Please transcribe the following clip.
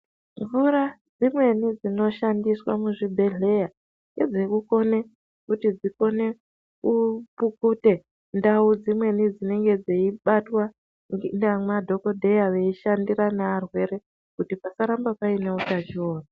Mvura dzimweni dzinoshandiswa muzvibhehleya ngedzekukone kuti dzikone kupukute ndau dzimweni dzinenge dzeibatwa nemadhokodheya veishandira naarwere kuti pasaramba paine utachiona.